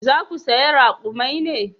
Za ku saya rakumai ne?